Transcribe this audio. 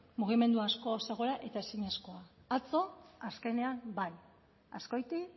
mugimendu asko zegoela eta ezinezkoa atzo azkenean bai azkoiti